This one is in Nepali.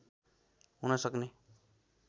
हुन सक्ने